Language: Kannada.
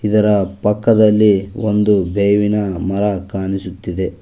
ಇದರ ಪಕ್ಕದಲ್ಲಿ ಒಂದು ಬೇವಿನ ಮರ ಕಾಣಿಸುತ್ತಿದೆ.